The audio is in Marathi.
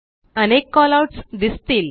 अनेक कॉलआउट्स दिसतील